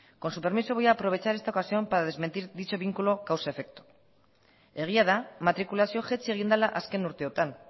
con su permiso voy a aprovechar esta ocasión para desmentir dicho vínculo causa efecto egia da matrikulazioa jaitsi egin dela azken urteotan